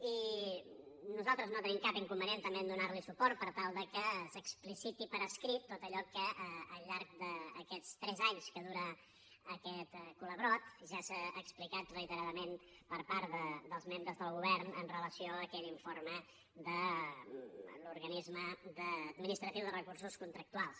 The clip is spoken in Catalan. i nosaltres no tenim cap inconvenient també a donar li suport per tal que s’expliciti per escrit tot allò que al llarg d’aquests tres anys que dura aquest serial ja s’ha explicat reiteradament per part dels membres del govern amb relació a aquell informe de l’organisme administratiu de recursos contractuals